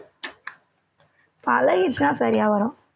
பழகிடுச்சுன்னா சரியா வரும்